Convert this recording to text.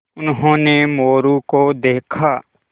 उन्होंने मोरू को देखा